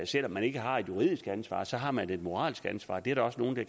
selv om man ikke har et juridisk ansvar så har man et moralsk ansvar det er der også nogle i